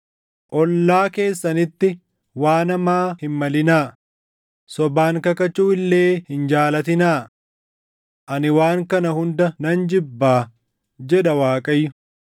ollaa keessanitti waan hamaa hin malinaa; sobaan kakachuu illee hin jaalatinaa. Ani waan kana hunda nan jibbaa” jedha Waaqayyo.